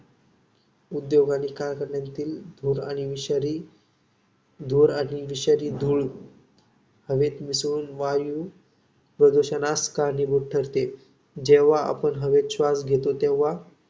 उद्योग आणि कारखान्यातील धूर आणि विषारी धूर आणि विषारी धूळ हवेत मिसळून वायुप्रदूषणास कारणीभूत ठरते. जेव्हा आपण हवेत श्वास घेतो तेव्हा